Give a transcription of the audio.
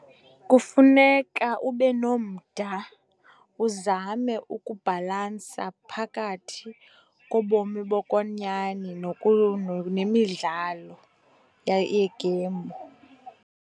Kufuneka ube nomda, uzame ukubhalansa phakathi kobomi bokwenyani nemidlalo yeegeyimu.